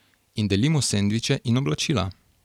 In delimo sendviče in oblačila.